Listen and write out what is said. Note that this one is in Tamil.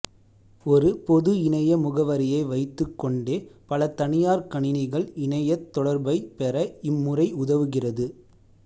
ஒரு பொது இணைய முகவரியை வைத்துக் கொண்டே பல தனியார் கணினிகள் இணையத் தொடர்பைப் பெற இம் முறை உதவுகிறது